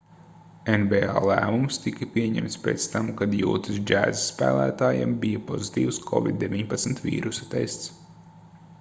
nba lēmums tika pieņemts pēc tam kad jūtas jazz spēlētājam bija pozitīvs covid-19 vīrusa tests